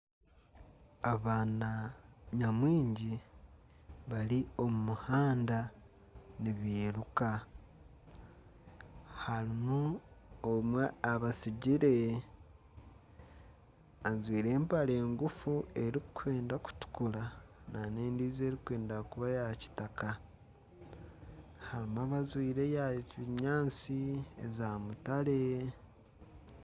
Abaana nyamwingi bari omu muhanda nibiruka harimu omwe abatsigire ajwaire empare ngufu erikwenda kutukura nana endiijo erikwenda kuba eya kitaka harimu abajwaire eya kinyatsi na mutare.